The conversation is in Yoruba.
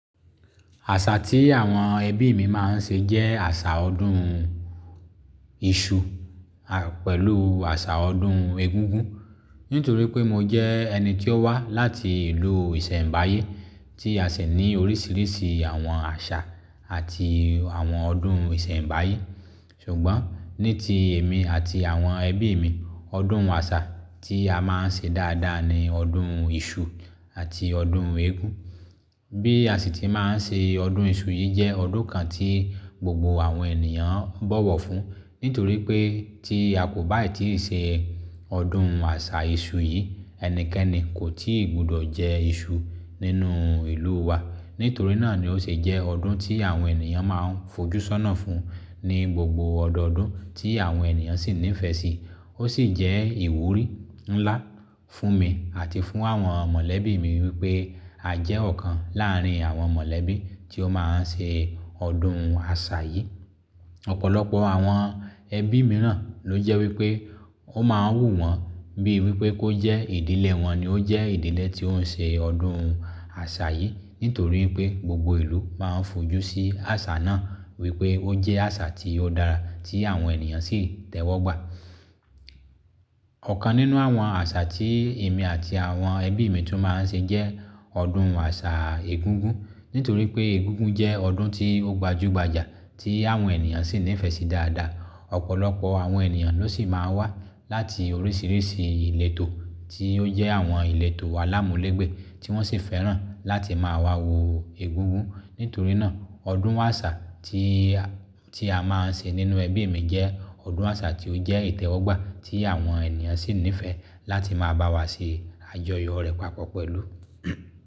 Àṣà tí àwọn ẹbí mi máa ń ṣe jẹ́ àṣà ọdún iṣu, pẹ̀lú àṣà ọdún egúngún. Nítorí pé mo jẹ́ ẹni tí ó wá láti ìlú Ìṣẹ́mbáyé tí a sì ní oríṣiríṣi àwọn àṣà àti àwọn ọdún Ìṣẹ́mbáyé. Ṣùgbọ́n ní ti èmi àti àwọn ẹbí mi, ọdún wàṣà tí a máa ń ṣe dáadáa ni ọdún iṣu àti ọdún eégún. Bí a sì tí máa ń ṣe ọdún iṣu yìí jẹ́ ọdún kan tí gbogbo àwọn ènìyàn ń bọ̀wọ̀ fún. Nítorí pé tí a kò bá ì tíì ṣe ọdún àṣà iṣu yìí, ẹnikẹ́ni kò tíì gbọdọ̀ jẹ iṣu nínú ìlú wa. Nítorí náà ni ó ṣe jẹ́ ọdún tí àwọn ènìyàn máa ń fojú sọ́nà fún ní gbogbo ọ̀dọ̀ọ̀dún tí àwọn ènìyàn sì nífẹ̀ẹ́ sí. Ó sì jẹ́ ìwúrí ńlá fún mi àti fún àwọn mọ̀lẹ́bí mi wípé a jẹ́ ọ̀kan láàrín àwọn mọ̀lẹ́bí tí ó máa ń ṣe ọdún àṣà yìí. Ọ̀pọ̀lọpọ̀ àwọn ẹbí mìíràn ló jẹ́ wípé ó máa ń wù wọ́n bíi wípé kó jẹ́ ìdílé wọn ni ó jẹ́ ìdílé tí ó ń ṣe ọdún àṣà yìí. Nítorí pé gbogbo ìlú máa ń fojú sí àṣà náà wípé ó jẹ́ àṣà tí ó dára tí àwọn ènìyàn sì tẹ́wọ́gbà. Ọ̀kan nínú àwọn àṣà tí èmi àti àwọn ẹbí mi tún máa ń ṣe jẹ́ ọdún àṣà egúngún. Nítorí pé egúngún jẹ́ ọdún tí ó gbajúgbajà tí àwọn ènìyàn sì nífẹ̀ẹ́ sí dáadáa. Ọ̀pọ̀lọpọ̀ àwọn ènìyàn ló sì máa ń wá láti oríṣiríṣi ìlétò tí ó jẹ́ àwọn ìletò alámúlègbé tí wọ́n sì fẹ́ràn láti máa wọ egúngún. Nítorí náà, ọdún wàṣà tí a, tí a máa ń ṣe nínú ẹbí mi jẹ́ ọdún àṣà tí ó jẹ́ ìtẹ́wọ́gbà tí àwọn ènìyàn sì nífẹ̀ẹ́ láti máa bá wa ṣe àjọyọ̀ rẹ̀ papọ̀ pẹ̀lú.